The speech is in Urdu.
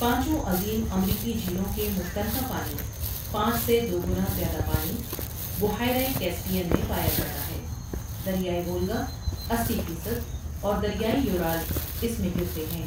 پانچوں عظیم امریکی جھیلوں کے مشترکہ پانی پانچ سے دو گنا زیادہ پانی بحیرہ کیسپیئن میں پایا جاتا ہے دریائے وولگا اسی فیصد اور دریائے یورال اس میں گرتے ہیں ۔